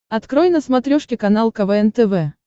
открой на смотрешке канал квн тв